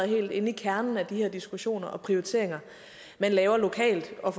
helt inde i kernen af de her diskussioner og prioriteringer man laver lokalt og